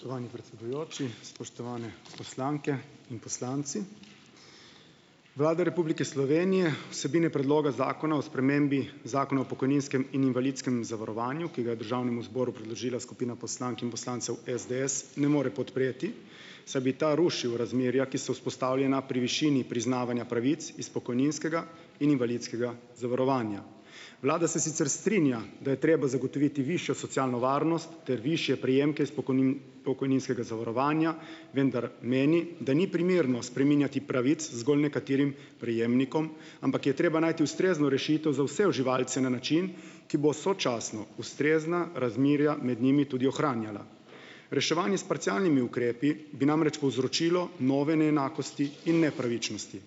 Spoštovani predsedujoči, spoštovane poslanke in poslanci. Vlada Republike Slovenije vsebine predloga Zakona o spremembi Zakona o pokojninskem in invalidskem zavarovanju, ki ga je državnemu zboru predložila skupina poslank in poslancev SDS ne more podpreti, saj bi ta rušil razmerja, ki so vzpostavljena pri višini priznavanja pravic iz pokojninskega in invalidskega zavarovanja. Vlada se sicer strinja, da je treba zagotoviti višjo socialno varnost ter višje prejemke s pokojninskega zavarovanja, vendar meni, da ni primerno spreminjati pravic zgolj nekaterim prejemnikom, ampak je treba najti ustrezno rešitev za vse uživalce na način, ki bo sočasno ustrezna razmerja med njimi tudi ohranjala. Reševanje s parcialnimi ukrepi bi namreč povzročilo nove neenakosti in nepravičnosti .